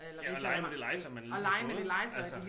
Ja og lege med det legetøj man lige har fået altså